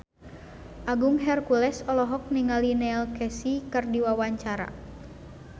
Agung Hercules olohok ningali Neil Casey keur diwawancara